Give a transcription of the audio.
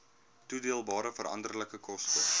toedeelbare veranderlike koste